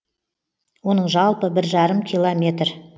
оның жалпы бір жарым километр